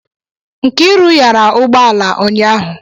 Nkiru yara ụgbọ ala ụnyahụ